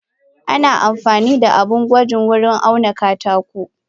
Ana amfanida abun gwaji wurin auna katako.